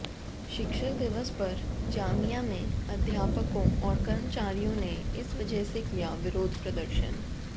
शिक्षक दिवस पर जामिया में अध्यापकों और कर्मचारियों ने इस वजह से किया विरोध प्रदर्शन